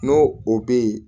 N'o o bɛ ye